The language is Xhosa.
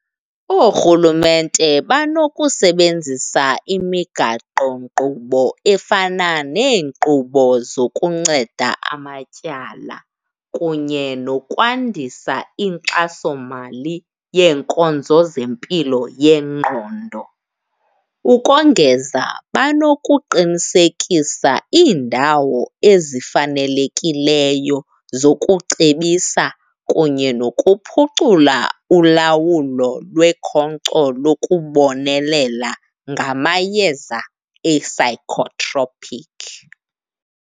Oorhulumnte banokusebenzisa imigaqonkqubo efana neenkqubo zokunceda amatyala kunye nokwandisa inkxasomali yeenkonzo zempilo yengqondo. Ukongeza banokuqinisekisa iindawo ezifanelekileyo zokucebisa kunye nokuphucula ulawulo lwekhonkco lokubonelela ngamayeza e-psychotropic